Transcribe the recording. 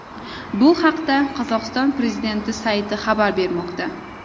Bu haqda Qozog‘iston prezidenti sayti xabar bermoqda .